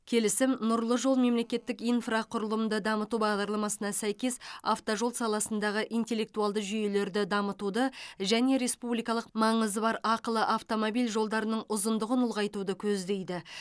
келісім нұрлы жол мемлекеттік инфрақұрылымды дамыту бағдарламасына сәйкес автожол саласындағы интеллектуалды жүйелерді дамытуды және республикалық маңызы бар ақылы автомобиль жолдарының ұзындығын ұлғайтуды көздейді